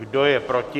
Kdo je proti?